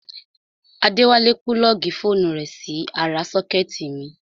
Adéwálé púlọ́ọ̀gì fóònù rẹ̀ sí ara sọ́kẹ́tì mi